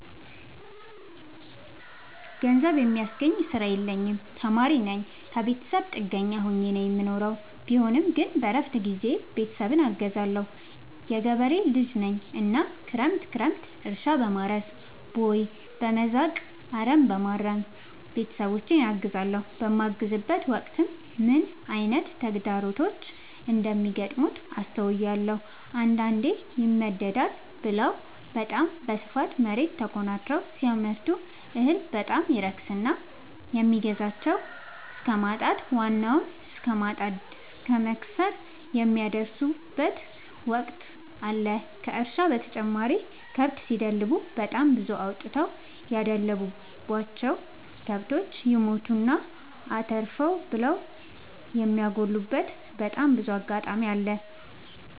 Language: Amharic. ገንዘብ የሚያስገኝ ስራ የለኝም ተማሪነኝ ከብተሰብ ጥገኛ ሆኜ ነው የምኖረው ቢሆንም ግን በረፍት ጊዜዬ ቤተሰብን አግዛለሁ። የገበሬ ልጅነኝ እናም ክረምት ክረምት እርሻ፣ በማረስ፣ ቦይ፣ በመዛቅ፣ አረምበማረም ቤተሰቦቼን አግዛለሁ። በማግዝበትም ወቅት ምን አይነት ተግዳሮቶች እንደሚገጥሙት አስተውያለሁ። አንዳንዴ ይመደዳል ብለው በታም በስፋት መሬት ተኮናትረው ሲያመርቱ እህል በጣም ይረክስና የሚገዛቸው እስከማጣት ዋናውን እስከማት እስከ መክሰር የሚደርሱበት ወቅት አለ ከእርሻ በተጨማሪ ከብት ሲደልቡ በጣም ብዙ አውጥተው ያደለቡቸው። ከብቶች ይሞቱና አተርፍ ብለው የሚያጎሉበቴ በጣም ብዙ አጋጣሚ አለ።